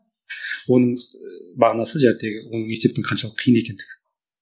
оның ыыы мағынасы оның есептің қаншалықты қиын екендігі